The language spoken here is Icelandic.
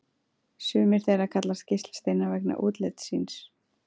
Sumir þeirra kallast geislasteinar vegna útlits síns.